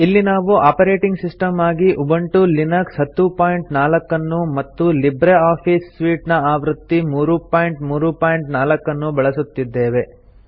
ಇಲ್ಲಿ ನಾವು operating system ಆಗಿ ಉಬುಂಟು ಲಿನಕ್ಸ್ 1004 ಅನ್ನು ಮತ್ತು ಲಿಬ್ರೆ ಆಫೀಸ್ ಸೂಟ್ ಆವೃತ್ತಿ 334 ಅನ್ನು ಬಳಸುತ್ತಿದ್ದೇವೆ